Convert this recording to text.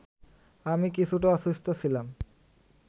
আমি কিছুটা অসুস্থ ছিলাম